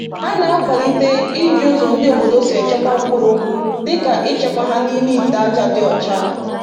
Ha na-akwalite iji ụzọ ndị obodo si echekwa mkpụrụ dịka ịchekwa ha n’ime ite ájá dị ọcha.